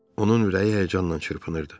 Onun ürəyi həyəcanla çırpınırdı.